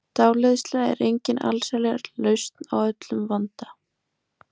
Dáleiðsla er engin allsherjarlausn á öllum vanda.